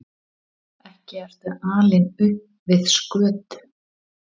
Ekki ertu alinn upp við skötu?